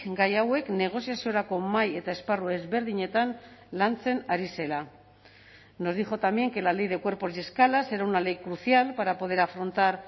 gai hauek negoziaziorako mahai eta esparru ezberdinetan lantzen ari zela nos dijo también que la ley de cuerpos y escalas era una ley crucial para poder afrontar